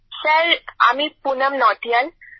sir আমি পুনম নৌটিয়াল